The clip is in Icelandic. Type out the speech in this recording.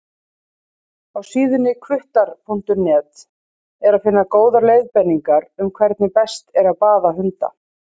Á síðunni hvuttar.net er að finna góðar leiðbeiningar um hvernig best er að baða hunda.